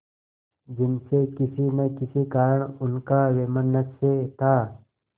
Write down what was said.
जिनसे किसी न किसी कारण उनका वैमनस्य था